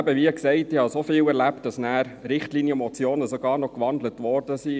Wie gesagt, ich habe so oft erlebt, dass Richtlinienmotionen sogar noch in Postulate gewandelt wurden.